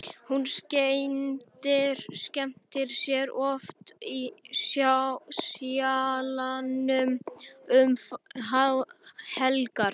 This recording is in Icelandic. Hún skemmtir sér oft í Sjallanum um helgar.